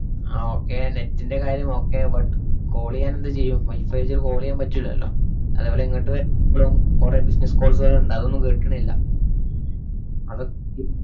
ആ okay net ന്‍റെ കാര്യം okay but call എയ്യാൻ എന്ത് ചെയ്യും? wifi ച്ച് call എയ്യാൻ പറ്റൂല്ലല്ലൊ. അതുപോലെ ഇങ്ങട്ട് വ~ പ്പളും കൊറേ business calls വരണ്ണ്ട്, അതൊന്നും കിട്ടണില്ല. അതൊ~ക്കെ